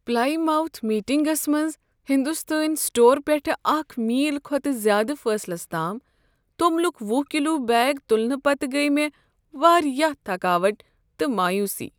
Plymouth میٹنگسَ منٛز ہنٛدستٲنۍ سٹور پیٹھ اکہ میل کھۄتہٕ زیادٕ فٲصلس تام توٚملک ۄہُ کلو بیگ تلنہٕ پتہٕ گٔیہ مےٚ واریاہ تھکاوٹ تہٕ مایوسی